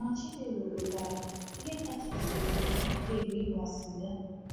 Ma, Chinelo kwetara: “Ihe kachasị sie m ike bụ ịgba sịga.”